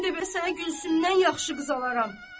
Mən də bəs sənə Gülsümdən yaxşı qız alaram.